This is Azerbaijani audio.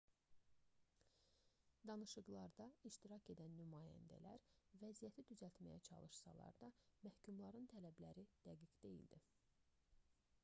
danışıqlarda iştirak edən nümayəndələr vəziyyəti düzəltməyə çalışsalar da məhkumların tələbləri dəqiq deyildi